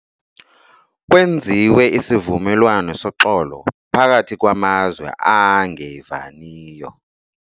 Kwenziwe isivumelwano soxolo phakathi kwamazwe angevaniyo.